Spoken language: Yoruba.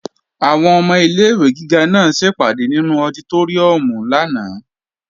Àwọn ọmọ ilé-ìwé gíga náà ṣèpàdé nínú ọditóríùm lánàá